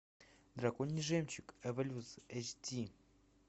драконий жемчуг эволюция эйч ди